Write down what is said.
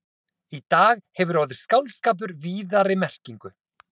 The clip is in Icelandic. Í dag hefur orðið skáldskapur víðari merkingu.